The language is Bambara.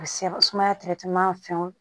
Sumaya fɛnw